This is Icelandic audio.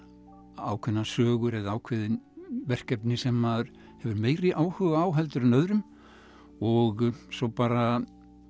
ákveðnar sögur eða ákveðin verkefni sem maður hefur meiri áhuga á heldur en öðrum og svo bara